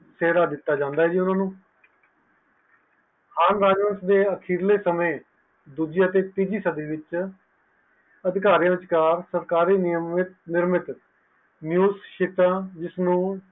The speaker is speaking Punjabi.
ਸ਼ੇਰ ਦਿੱਤੋ ਜਾਂਦਾ ਹੈ ਤੇ ਓਹਨਾ ਨੂੰ ਦੂਜਿਆਂ ਤੇ ਤੀਜੀਆਂ ਸਾਡੀ ਵਿਚ ਅਧਿਕਾਰਿਤ ਆ ਸਰਕਾਰੀ ਨੀਯਤ ਵਿਚ ਚੀਜ਼ ਸੀਤਾ ਨੂੰ ਚੇਰਾ ਦਿੱਤੋ ਜਾਂਦਾ